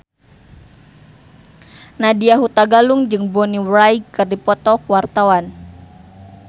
Nadya Hutagalung jeung Bonnie Wright keur dipoto ku wartawan